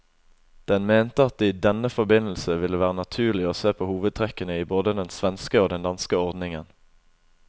Den mente at det i denne forbindelse ville være naturlig å se på hovedtrekkene i både den svenske og den danske ordningen.